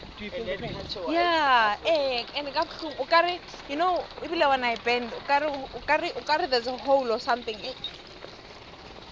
abadorhodere bakhuthaza abantu bona baziphathe kuhle